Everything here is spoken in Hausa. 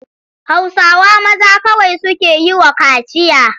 Hausawa maza kawai suke yi wa kaciya.